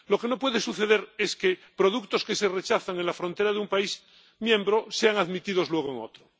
lo que no puede suceder es que productos que se rechazan en la frontera de un país miembro sean admitidos luego en otro.